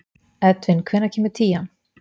Edvin, hvenær kemur tían?